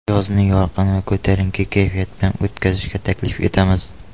Yozni yorqin va ko‘tarinki kayfiyat bilan o‘tkazishga taklif etamiz!